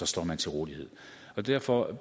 står man til rådighed og derfor